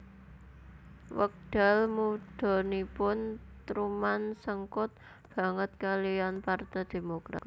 Wekdal mudhanipun Truman sengkut banget kaliyan Parte Demokrat